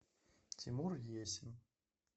тимур есин